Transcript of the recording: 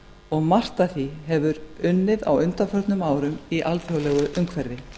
og margt af því hefur unnið á undanförnum árum í alþjóðlegu umhverfi